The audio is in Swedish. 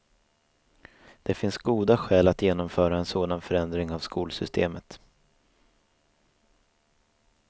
Det finns goda skäl att genomföra en sådan förändring av skolsystemet.